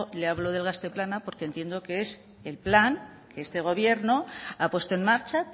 le hablo del gazte plana porque entiendo que es el plan que este gobierno ha puesto en marcha